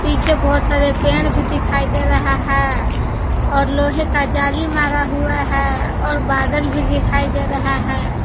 पीछे बहोत सारे पेड़ भी दिखाई दे रहा है और लोहे का जाली मारा हुआ है और बादल भी दिखाई दे रहा है।